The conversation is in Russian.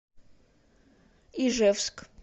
ижевск